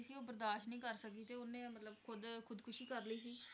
ਸੀ ਉਹ ਬਰਦਾਸ਼ਤ ਨਹੀਂ ਕਰ ਸਕੀ ਤੇ ਉਹਨੇ ਮਤਲਬ ਖੁੱਦ ਖੁੱਦਕੁਸ਼ੀ ਕਰ ਲਈ ਸੀ?